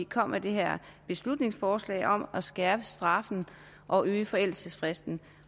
kom med det her beslutningsforslag om at skærpe straffen og øge forældelsesfristen